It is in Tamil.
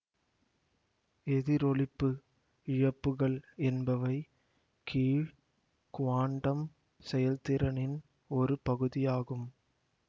எதிரொளிப்பு இழப்புகள் என்பவை கீழ் குவாண்டம் செயல்திறனின் ஒரு பகுதியாகும்